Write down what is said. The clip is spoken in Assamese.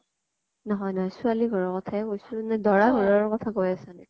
নহয় নহয় । ছোৱালী ঘৰৰ কথা য়ে কৈছো নে দৰা ঘৰৰ কথা কৈ আছা নেকি ?